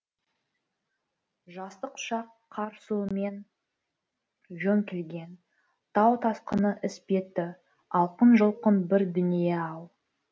жастық шақ қар суымен жөңкілген тау тасқыны іспетті алқын жұлқын бір дүние ау